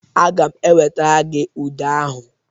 Aga m ewetara gị ude ahụ.